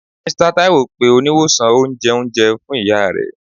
Mr Taiwo pe oniwosan onjẹunjẹ fun iya rẹ.